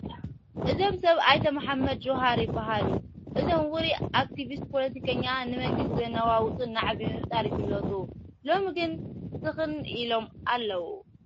እዞም ሰብ ኣይተ መሓመድ ጁሃር ይበሃሉ፡፡ እዞም ውሩይ ኣክቲብስትን ፖለቲከኛን ንመንግስቲ ዘነዋውፅ ናዕቢ ብምፍጣር ይፍለጡ፡፡ ሎሚ ግን ስኽን ኢሎም ኣለዉ፡፡